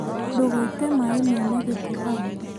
Ndũgaite maĩ mena gĩko hau